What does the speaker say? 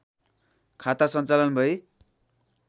खाता सञ्चालन भई